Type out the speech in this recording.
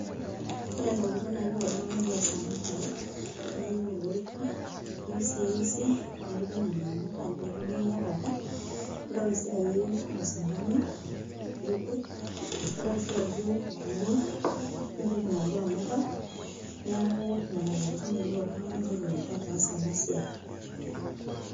Ore intokiting naayieu oltung'ani pee eas ena bae naa iyieu olorika, iyieu sii eusi niripie nena amuka nekiyakaki, nintoki sii ayieu osindano liripie nintoki sii ayieu glue nipik inaduo amuka. Neeku nena tokiting eyieu oltung'ani peetumoki ataasa ena siai